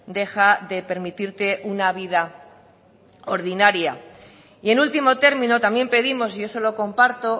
deja de permitirte una vida ordinaria y en último término también pedimos y eso lo comparto